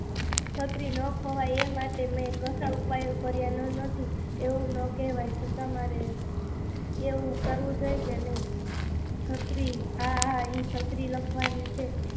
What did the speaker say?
છત્રી ન ખોવાય એના માટે મેં ઘણાં ઉપાય ન કર્યા એવું ના કેહવાય, છતાં મારે એવું કરવું જોઈએ કે નહીં, હા હા એ છત્રી લખવાનું છે